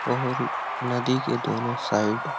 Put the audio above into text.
और नदी के दोनों साइड --